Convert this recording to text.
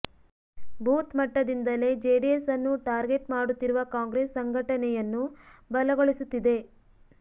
booth ಮಟ್ಟದಿಂದಲೇ ಜೆಡಿಎಸ್ ಅನ್ನು target ಮಾಡುತ್ತಿರುವ ಕಾಂಗ್ರೆಸ್ ಸಂಘಟನೆಯನ್ನು ಬಲಗೊಳಿಸುತ್ತಿದೆ